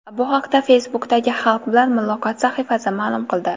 Bu haqda Facebook’dagi Xalq bilan muloqot sahifasi ma’lum qildi .